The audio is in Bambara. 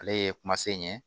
Ale ye kuma se in ye